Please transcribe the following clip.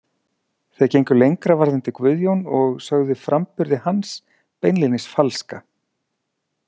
Þeir gengu lengra varðandi Guðjón og sögðu framburði hans beinlínis falska.